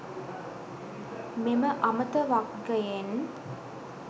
මෙම අමත වග්ගයෙන්